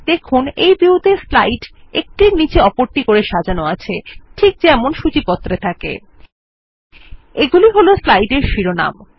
দেখুন এই ভিউ ত়ে স্লাইড একটির নীচে অপরটি করে সাজানো আছে ঠিক যেমন সূচী পত্রে থাকে I এগুলি হল স্লাইডের শিরোনাম